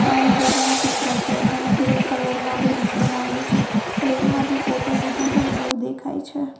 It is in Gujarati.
આ રિવર નો ચિત્ર છે અને ગ્રે કલર નો બ્રિજ બનાવ્યો છે ટ્રેન માંથી ફોટો લીધો હોય એવું દેખાય છે.